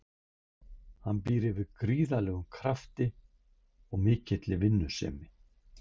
Hann býr yfir gríðarlegum krafti og mikilli vinnusemi.